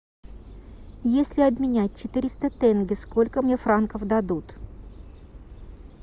если обменять четыреста тенге сколько мне франков дадут